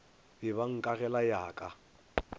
be ba nkagela ya ka